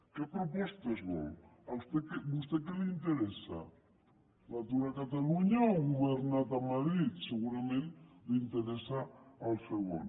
quines propostes vol a vostè què li interessa l’atur a catalunya o el govern de madrid segurament li interessa el segon